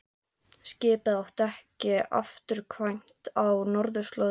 Skipið átti ekki afturkvæmt á norðurslóðir.